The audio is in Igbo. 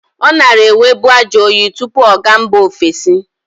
Ọ nara enwebu ajọyị tụpụ ọ ga mba ovesi.